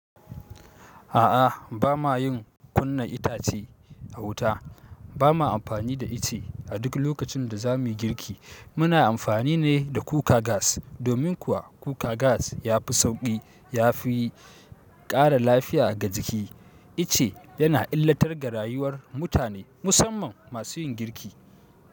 A'a, ba ma yin kunna itace a wuta. Ba ma amfani da ice a duk lokacin da za mu yi girki. Muna amfani ne da kuka gas. Domin kuwa cooker gas ya fi sauƙi, ya fi ƙara lafiya ga jiki. Ice yana illatar ga rayuwar mutane, musamman masu yin girki.